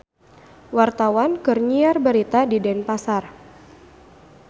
Wartawan keur nyiar berita di Denpasar